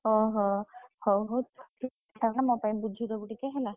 ଓହୋ! ହଉ ହଉ ତାହେଲେ ମୋ ପାଇଁ ବୁଝି ଦବୁ ଟିକେ ହେଲା।